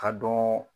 Ka dɔn